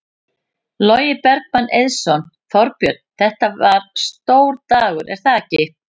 Logi Bergmann Eiðsson: Þorbjörn, þetta var stór dagur er það ekki?